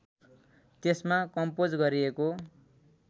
त्यसमा कम्पोज गरिएको